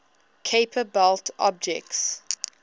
kuiper belt objects